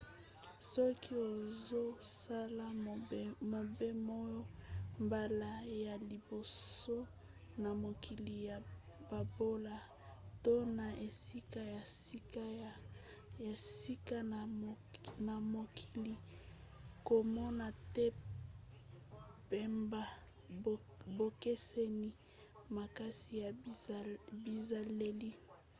soki ozosala mobemoa mbala ya liboso na mokili ya bobola - to na esika ya sika na mokili - komona te pamba bokeseni makasi ya bizaleli